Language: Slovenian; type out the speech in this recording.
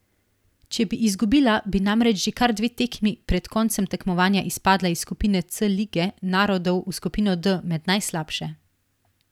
Če bi izgubila, bi namreč že kar dve tekmi pred koncem tekmovanja izpadla iz skupine C lige narodov v skupino D med najslabše.